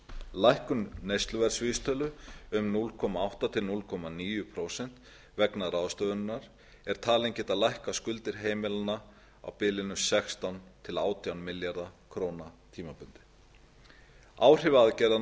lækkun neysluverðsvísitölu um núll komma átta prósent til núll komma níu prósenta vegna ráðstöfunarinnar er talin geta lækkað skuldir heimilanna á bilinu sextán til átján milljarða króna tímabundið áhrif